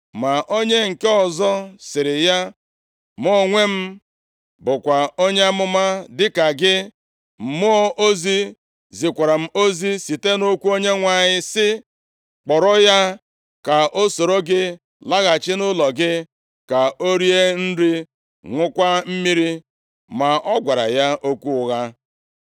Ma onye nke ọzọ sịrị ya, “Mụ onwe m bụkwa onye amụma dịka gị, mmụọ ozi zikwara m ozi site nʼokwu Onyenwe anyị sị, ‘Kpọrọ ya ka o soro gị laghachi nʼụlọ gị, ka o rie nri, ṅụọkwa mmiri.’ ” (Ma ọ gwara ya okwu ụgha.)